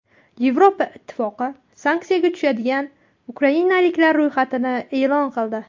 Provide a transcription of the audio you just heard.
Yevropa Ittifoqi sanksiyaga tushadigan ukrainaliklar ro‘yxatini e’lon qildi.